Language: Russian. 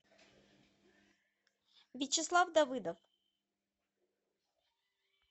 вячеслав давыдов